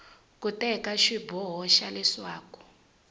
ku teka xiboho xa leswaku